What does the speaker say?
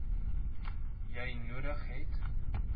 jy nodig het